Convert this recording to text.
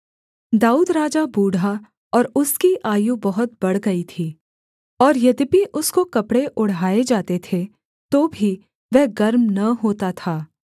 दाऊद राजा बूढ़ा और उसकी आयु बहुत बढ़ गई थी और यद्यपि उसको कपड़े ओढ़ाए जाते थे तो भी वह गर्म न होता था